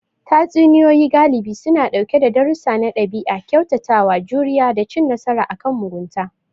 Tatsuniyoyi galibi suna ɗauke sa darussa na ɗabi'a, kyautatawa, juriya, da cin nasara akan mugunta.